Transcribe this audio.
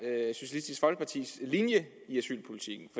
er socialistisk folkepartis linje